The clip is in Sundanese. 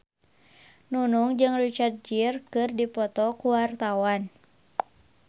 Nunung jeung Richard Gere keur dipoto ku wartawan